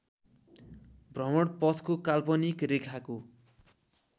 भ्रमणपथको काल्पनिक रेखाको